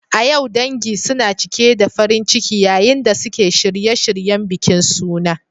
A yau, dangi suna cike da farin ciki yayin da suke shirye-shiryen bikin suna.